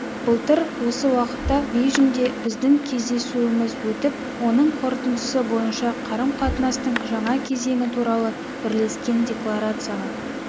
былтыр осы уақытта бейжіңде біздің кездесуіміз өтіп оның қорытындысы бойынша қарым-қатынастың жаңа кезеңі туралы бірлескен декларацияға